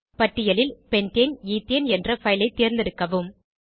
பட்டியலில் pentane ethane என்ற file ஐ தேர்ந்தெடுக்கவும்